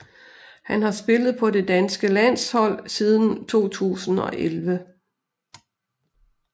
Han har spillet på det danske landshold siden 2011